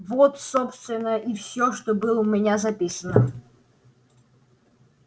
вот собственно и всё что было у меня записано